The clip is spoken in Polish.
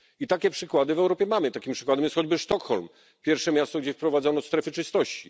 I takie przykłady w Europie mamy. Takim przykładem jest choćby Sztokholm pierwsze miasto, gdzie wprowadzono strefy czystości.